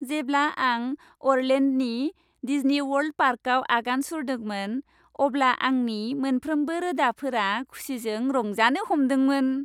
जेब्ला आं अरलेन्ड'नि डिज्नीवर्ल्ड पार्कआव आगान सुरदोंमोन, अब्ला आंनि मोनफ्रोमबो रोदाफोरा खुसिजों रंजानो हमदोंमोन।